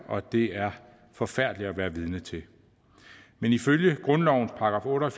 og det er forfærdeligt at være vidne til men ifølge grundlovens § otte og